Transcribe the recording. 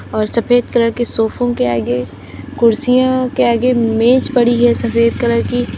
और सफेद कलर के सोफों के आगे कुर्सियाँ के आगे मेज पड़ी है सफेद कलर की।